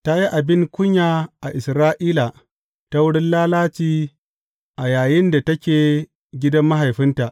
Ta yi abin kunya a Isra’ila ta wurin lalaci a yayinda take a gidan mahaifinta.